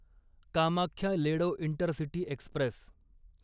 Kamakhya Ledo intercity Express